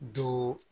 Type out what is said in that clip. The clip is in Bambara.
Don